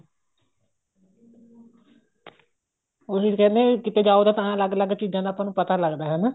ਉਹੀ ਤਾਂ ਕਹਿੰਦੇ ਨੇ ਕਿਤੇ ਜਾਓ ਤਾਂ ਅਲੱਗ ਅਲੱਗ ਚੀਜ਼ਾਂ ਦਾ ਆਪਾਂ ਨੂੰ ਪਤਾ ਲੱਗਦਾ ਹਨਾ